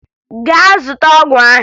Gaa zụta ọgwụ ahụ!